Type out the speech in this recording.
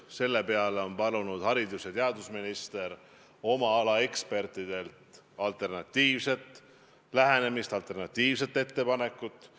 Selle peale on haridus- ja teadusminister palunud oma ala ekspertidelt alternatiivset lähenemist, alternatiivset ettepanekut.